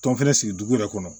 Tɔn fɛnɛ sigi dugu yɛrɛ kɔnɔ